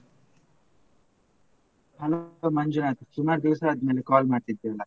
Hello Manjunath ಸುಮಾರ್ ದಿವ್ಸ ಆದ್ಮೇಲೆ call ಮಾಡ್ತಿದ್ದೀಯಲ್ಲ?